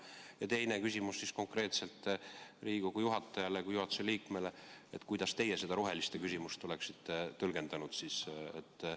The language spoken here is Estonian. Ja teine küsimus on mul veel konkreetselt Riigikogu istungi juhatajale kui juhatuse liikmele: kuidas teie oleksite seda roheliste küsimust tõlgendanud?